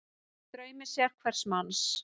Í draumi sérhvers manns